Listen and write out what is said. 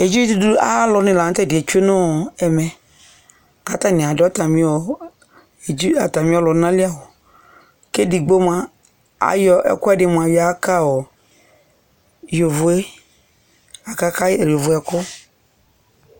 Edzidudu ayalʋ ni la nʋ tɛdiɛ tsue ɔ nɛmɛ kʋ atani adʋ atami ɔ ɔlʋna li awʋ kʋ edigbo moa ayɔ ɛkʋɛdi yɔyaka ɔ yovo e, akaka yovo e ɛkʋ